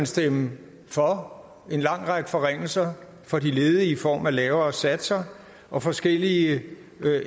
stemme for en lang række forringelser for de ledige i form af lavere satser og forskellige